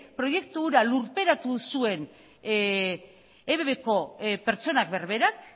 proiektu hura lurperatu zuen ebbko pertsona berberak